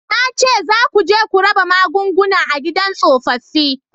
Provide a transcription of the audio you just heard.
Na ce za ku je ku raba magunguna a gidan tsofaffi